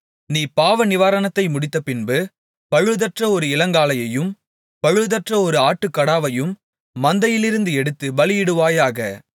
நீ பாவநிவாரணத்தை முடித்தபின்பு பழுதற்ற ஒரு இளங்காளையையும் பழுதற்ற ஒரு ஆட்டுக்கடாவையும் மந்தையிலிருந்து எடுத்துப் பலியிடுவாயாக